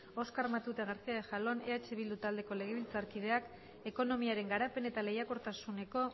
oskar matute garcía de jalón eh bildu taldeko legebiltzarkideak ekonomiaren garapen eta lehiakortasuneko